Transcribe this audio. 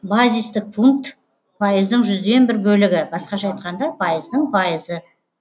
базистік пункт пайыздың жүзден бір бөлігі басқаша айтқанда пайыздың пайызы